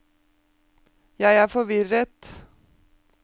jeg er forvirret